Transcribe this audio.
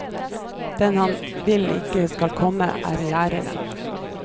Den han vil ikke skal komme, er læreren.